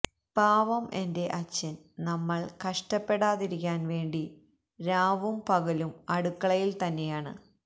പാവം എന്റെ അച്ഛൻ നമ്മൾ കഷ്ട്ടപെടാതിരിക്കാൻ വേണ്ടി രാവും പകലും അടുക്കളയിൽ തന്നെയാണ്